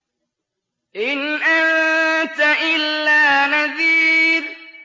إِنْ أَنتَ إِلَّا نَذِيرٌ